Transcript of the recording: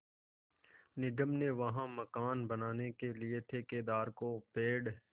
निगम ने वहाँ मकान बनाने के लिए ठेकेदार को पेड़